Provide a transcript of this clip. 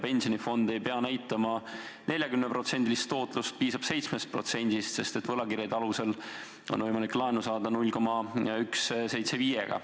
Pensionifond ei pea näitama 40%-list tootlust, piisab 7%-st, sest võlakirjade alusel on võimalik laenu saada 0,175%-ga.